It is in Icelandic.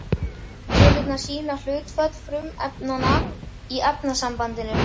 Tölurnar sýna hlutföll frumefnanna í efnasambandinu.